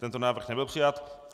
Tento návrh nebyl přijat.